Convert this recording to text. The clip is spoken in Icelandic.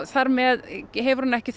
þar með hefur hún ekki